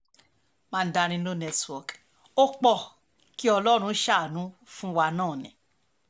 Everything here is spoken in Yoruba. mandarin no network ó um pọ̀ kí ọlọ́run ṣàánú fún um wa náà ni